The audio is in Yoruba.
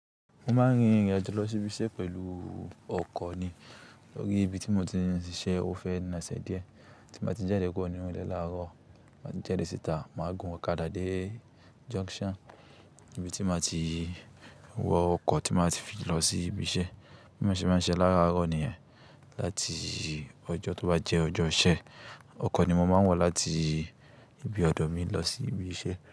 Mo máa ń rin ìrìn àjò lọ sí ibi iṣẹ́ pẹ̀lú ọkọ̀ ni tórí ibi tí mo ti ń ṣiṣẹ́ ofé náà ṣe díẹ̀. Tí mo bá ti jáde kúrò ní ilé láàárọ̀, má tí n jáde síta, màá gun ọ̀kadà dé junction ibi tí màá ti wọ ọkọ̀ tí màá fi lọ sí ibi iṣẹ́. Bí mo ṣe bá ń ṣe láàárọ̀ nìyẹn, láti ọjọ́ tó bá jẹ́ ọjọ́ ọṣẹ, ọkọ̀ ni mo máa ń wọ̀ láti ibi ọ̀dọ̀ mi lọ sí ibi iṣẹ́